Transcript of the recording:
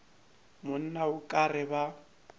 monna o ka re ba